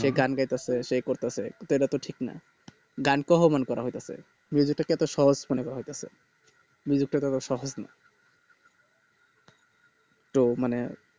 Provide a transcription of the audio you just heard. সে গান গাইতেছে সে করিতেছে সেটা তো ঠিক না গানকে অপমান করা হইতাতেছে টাকে সহজ মনে করা হইতাতেছে টা এতো সহজ না তো মানে